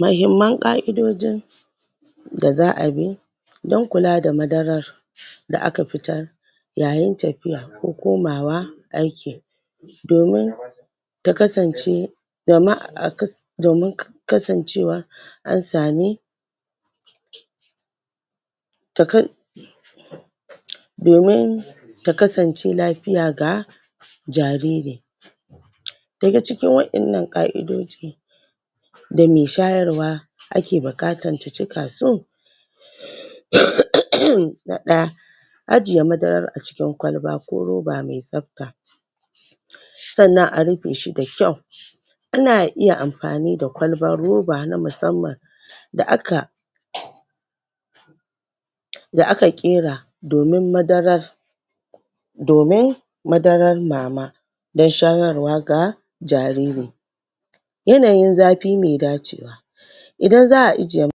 muhimman ƙaidojin da za'a bi don kula da madarar da aka fitar yayin tafiyar ko komawa aiki domin ta kasance dama kasan domin kasan cewa an sami? domin ta kasan ce lafiya ga jariri daga cikin wadanna ƙaidoji da me shayar wa ake da bukatar ta cika su? na ɗaya ajiye madarar acikin kwalba ko roba mai tsafta sannan a rufe da kyau ana iya amfani da kwalbar roba na musamman da aka? da aka kera domin madarar domin madarar mama don shayarwa da jariri yanayin zafi mai dacewa idan za'a ijiye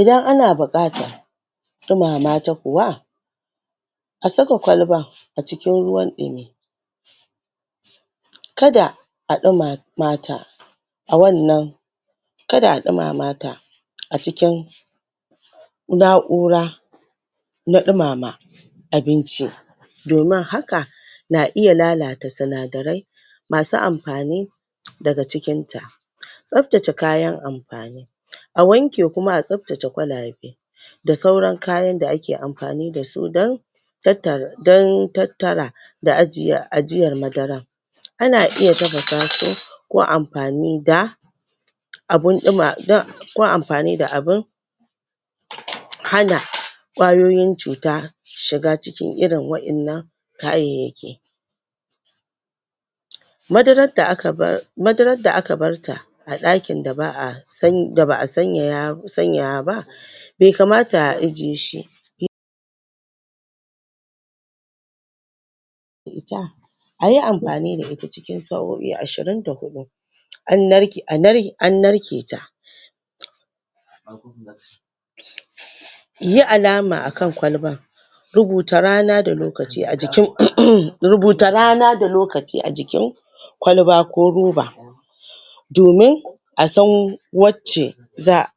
idan ana bukata dumama ta kuwa asaka kwalbar acikin ruwan dumi kada a ɗumamata a wannan kada a ɗumamata acikin na'ura na ɗumama abinci domin haka na iya lalata sinadarai masu amfani da ga cikinta tsaftace kayan amfani a wanke kuma a tsafatce kayan amfani da sauran kayan da ake amfani dasu don don tattala da ajiyar madarar ana iya tafasa su ko amfani da ko amfani da abun duma hana kwayoyin cuta shiga shiga cikin irin wadannan kayayyaki madarar da aka barta a dakin da ba'a sanyaya ba bai kamta ajiyeshi ba ita ayi amfani da ita cikin sa'o'i ashirin da hudu an narketa yi alama akan kwalbar rubuta rana da lokaci ajin kwalbar kwalba ko roba domin asan wacce za'a